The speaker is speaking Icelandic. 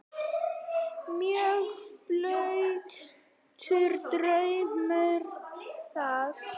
Mjög blautur draumur það.